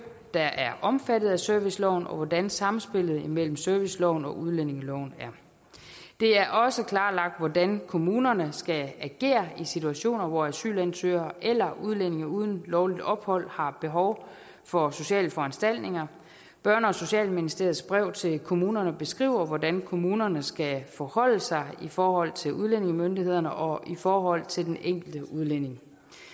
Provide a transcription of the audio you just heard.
der er omfattet af serviceloven og hvordan samspillet mellem serviceloven og udlændingeloven er det er også klarlagt hvordan kommunerne skal agere i situationer hvor asylansøgere eller udlændinge uden lovligt ophold har behov for sociale foranstaltninger børne og socialministeriets brev til kommunerne beskriver hvordan kommunerne skal forholde sig i forhold til udlændingemyndighederne og i forhold til den enkelte udlænding